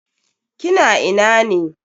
Kina ina ne?